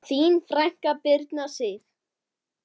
Þín frænka, Birna Sif.